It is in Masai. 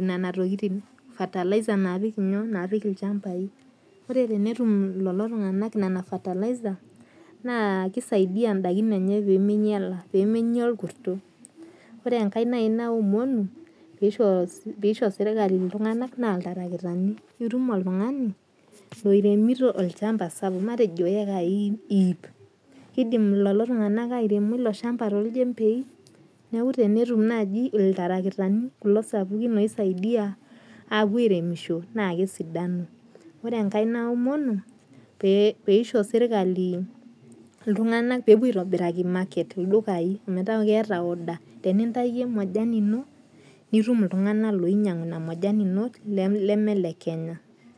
nena tokitin fertilizer naapik ilchambai. Ore tenetum lelo tung'ana nena fertilizer naa kisaidia idaikin enye pemeinyala , pemenya orkurto. Ore enkae naji naomonu peisho serikali iltung'ana naa iltarakitani. Itum oltung'ani loiremito olchamba sapuk, matejo eyekai iip. Kidim lelo tung'ana airemo lelo shambai too ilchembei? Neeku tenetum naaji iltarakitani kulo sapukin oisaidia apuo airemisho naa kesidanu . Ore enkae naomonu pee isho serikali iltung'ana pee epuo aitobiraki marketing ildukain meet keeta order. Tenintaki majani ino nitum iltung'ana loinyang'u ina majani ino leme ile Kenya.